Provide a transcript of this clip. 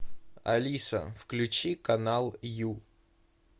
алиса включи канал ю